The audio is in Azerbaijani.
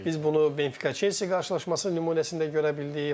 Biz bunu Benfica-Chelsea qarşılaşması nümunəsində görə bildik.